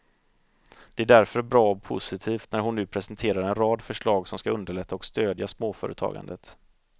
Det är därför bra och positivt när hon nu presenterar en rad förslag som skall underlätta och stödja småföretagandet.